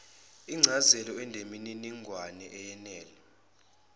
incazelo eneminingwane eyenele